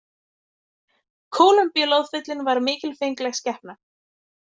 Kólumbíuloðfíllinn var mikilfengleg skepna.